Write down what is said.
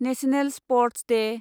national sports Day